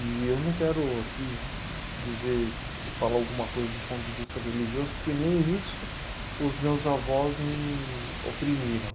E eu não quero aqui dizer, falar alguma coisa do ponto de vista religioso, porque nem isso os meus avós me oprimiram.